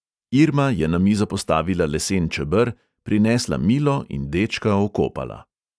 Irma je na mizo postavila lesen čeber, prinesla milo in dečka okopala.